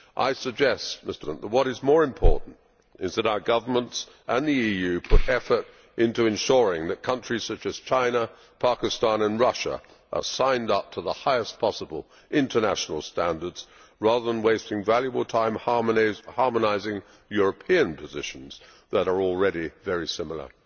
I suggest that what is more important is that our governments and the EU put effort into ensuring that countries such as China, Pakistan and Russia are signed up to the highest possible international standards, rather than wasting valuable time harmonising European positions that are already very similar.